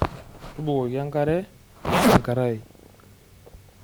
Tubukoki enkare enkarai.